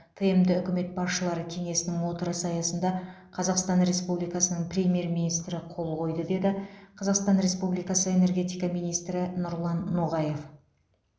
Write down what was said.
тмд үкімет басшылары кеңесінің отырысы аясында қазақстан республикасының премьер министрі қол қойды деді қазақстан республикасы энергетика министрі нұрлан ноғаев